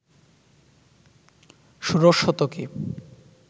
ষোড়শ শতকে